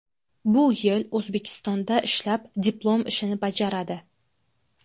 Bu yil O‘zbekistonda ishlab, diplom ishini bajaradi.